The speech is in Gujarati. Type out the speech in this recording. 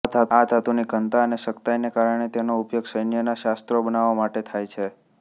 આ ધાતુની ઘનતા અને સખતાઈને કારણે તેનો ઉપયોગ સૈન્ય ના શસ્ત્રો બનાવવા માટે થાય છે